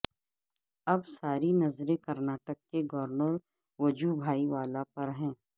اب ساری نظریں کرناٹک کے گورنر وجو بھائی والا پر ہیں